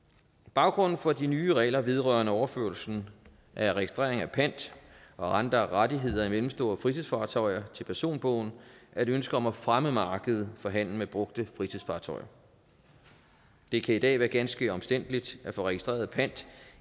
baggrunden for de nye regler vedrørende overførelsen af registrering af pant og andre rettigheder i mellemstore fritidsfartøjer til personbogen er et ønske om at fremme markedet for handel med brugte fritidsfartøjer det kan i dag være ganske omstændeligt at få registreret pant